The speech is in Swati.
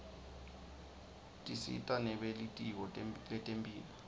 tisita nebelitiko letemphilo